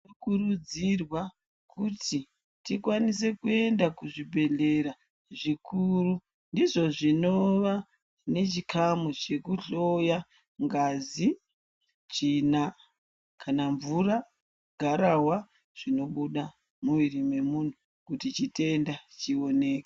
Kukurudzirwa kuti tikwanise kuenda kuzvibhedhlera zvikuru ndizvo zvinova nechikamu chekuhloya ngazi tsvina kana mvura garahwa zvinobuda muviri wemuntu kuti chitenda chioneke.